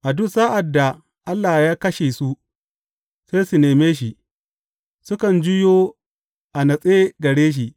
A duk sa’ad da Allah ya kashe su, sai su neme shi; sukan juyo a natse gare shi.